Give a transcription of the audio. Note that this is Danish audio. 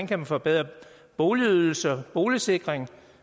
kan forbedre boligydelse og boligsikring